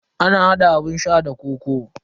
Ana hada abun sha da kokoo.